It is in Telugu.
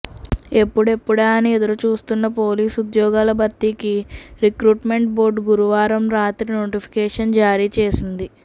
ఎప్పుడెప్పుడా అని ఎదురు చూస్తున్న పోలీసు ఉద్యోగాల భర్తీకి రి క్రూట్మెంట్ బోర్డు గురువారం రాత్రి నోటిఫికేషన్ జారీ చేసింది